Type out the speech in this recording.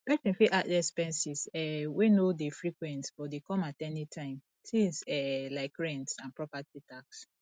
person fit add expenses um wey no dey frequent but dey come at anytime things um like rent and property tax